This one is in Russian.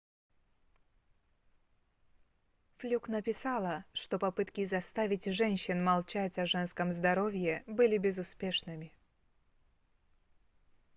флюк написала что попытки заставить женщин молчать о женском здоровье были безуспешными